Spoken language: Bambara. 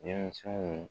Denmisɛnw